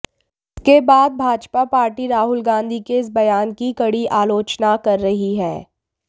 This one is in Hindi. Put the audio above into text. जिसके बाद भाजपा पार्टी राहुल गांधी के इस बयान की कड़ी आलोचना कर रही है